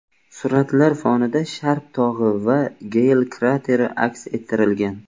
Suratlar fonida Sharp tog‘i va Geyl krateri aks ettirilgan.